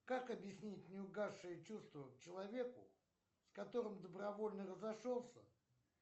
как объяснять неугасшие чувства к человеку с которым добровольно разошелся